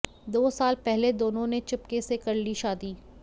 दो साल पहले दोनों ने चुपके से कर ली शादी